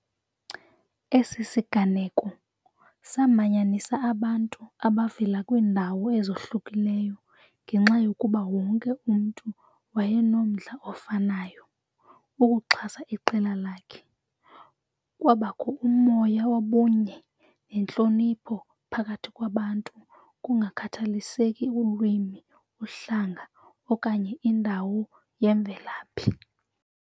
Esi siganeko samanyanisa abantu abavela kwiindawo ezohlukileyo ngenxa yokuba wonke umntu wayenomdla ofanayo ukuxhasa iqela lakhe. Kwabakho umoya wobunye nentlonipho phakathi kwabantu kungakhathaliseki ulwimi, uhlanga okanye indawo yemvelaphi.